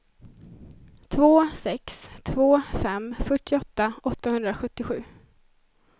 två sex två fem fyrtioåtta åttahundrasjuttiosju